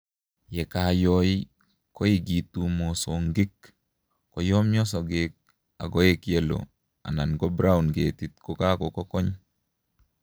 Ye kayoi koukitu mosongik, koyomyo sogek akoek yellow anan ko brown ketit kokakokony